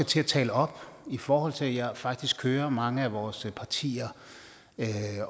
til at tale op i forhold til at jeg faktisk hører mange af vores partier